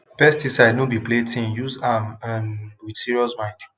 pesticide no be playthinguse am um with serious mind